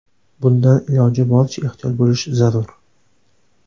Bundan iloji boricha ehtiyot bo‘lish zarur.